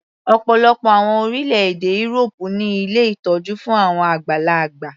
Ọ̀pọ̀lọpọ̀ àwọn orílẹ̀-èdè írópù ní ilé ìtọ́jú fún àwọn àgbàlagbà.